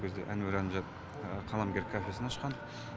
ол кезде әнуар әлімжанов қаламгер кафесін ашқан